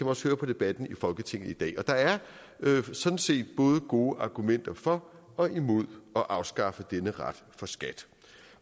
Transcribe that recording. også høre på debatten i folketinget i dag der er sådan set både gode argumenter for og imod at afskaffe denne ret for skat